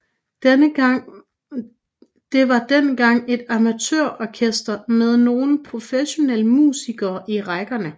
Det var dengang et amatørorkester med nogle professionelle musikere i rækkerne